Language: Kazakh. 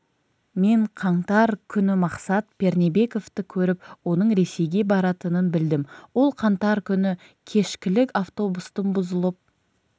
мен қаңтар күні мақсат пернебековті көріп оның ресейге баратынын білдім ол қаңтар күні кешкілік автобустың бұзылып